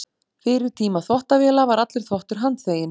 Fyrir tíma þvottavéla var allur þvottur handþveginn.